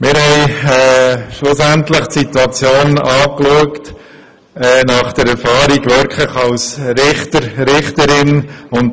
Schlussendlich haben wir die Erfahrung der Kandidierenden als Richter und Richterin angeschaut.